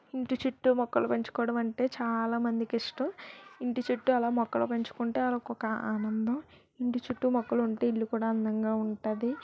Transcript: ఇంటి చుట్టు మొక్కలు పెంచుకోవడం అంటే చాలా మందికి ఇష్టం.